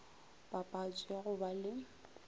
papatšo ya go ba le